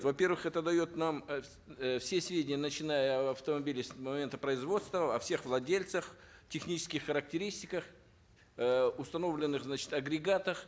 во первых это дает нам э все сведения начиная об автомобиле с момента производства о всех владельцах технических характеристиках э установленных значит агрегатах